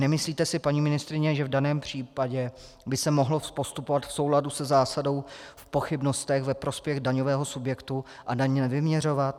Nemyslíte si, paní ministryně, že v daném případě by se mohlo postupovat v souladu se zásadou "v pochybnostech ve prospěch daňového subjektu" a daň nevyměřovat?